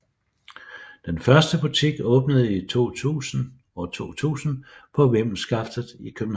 Den første butik åbnede i 2000 på Vimmelskaftet i København